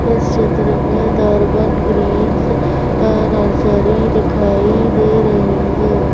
इस क्षेत्र में दर्बन ग्रीन्स नर्सरी दिखाई दे रही है।